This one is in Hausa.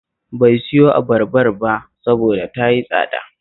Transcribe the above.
Bai siyo abarbar ba saboda ta yi tsada